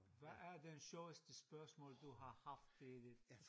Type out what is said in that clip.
Hvad er det sjoveste spørgsmål du har haft i dit